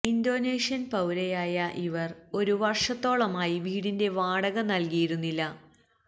Indonesian പൌരയായ ഇവര് ഒരു വര്ഷത്തോളമായി വീടിന്റെ വാടക നല്കിയിരുന്നില്ല